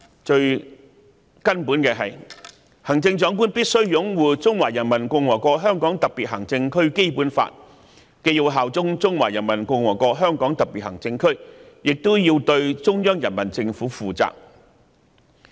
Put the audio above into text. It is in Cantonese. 最根本的是，行政長官必須擁護《中華人民共和國香港特別行政區基本法》，既要效忠中華人民共和國香港特別行政區，亦要對中央人民政府負責。